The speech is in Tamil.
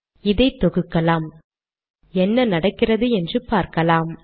இதை தொகுக்கலாம் என்ன நடக்கிறது என்று பார்க்கலாம்